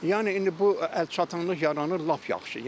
Yəni indi bu əlçatımlıq yaranır, lap yaxşı.